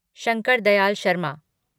Shankar Dayal Sharma